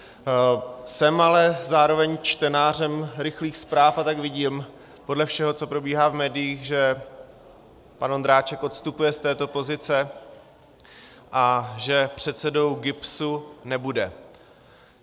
Jsem ale zároveň čtenářem rychlých zpráv a tak vidím podle všeho, co probíhá v médiích, že pan Ondráček odstupuje z této pozice a že předsedou GIBSu nebude.